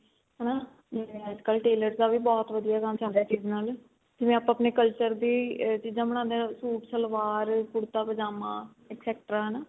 ਹਨਾ ਜਿਵੇਂ ਅੱਜਕਲ tailors ਦਾ ਵੀ ਬਹੁਤ ਵਧੀਆ ਕੰਮ ਚੱਲ ਰਿਹਾ ਨਾਲ ਜਿਵੇਂ ਆਪਾਂ ਆਪਣੇ culture ਦੀ ਚੀਜਾ ਬਣਾਂਦੇ ਆ ਸੂਟ ਸਲਵਾਰ ਕੁੜਤਾ ਪਜਾਮਾ extra ਹਨਾ